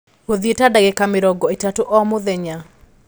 Gũthĩi ta dagĩka mĩrongo ĩtatũ o mũthenya